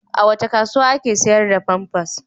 A wace kasuwa ake sayar da famfas?